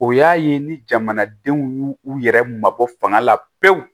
O y'a ye ni jamanadenw y'u u yɛrɛ mabɔ fanga la pewu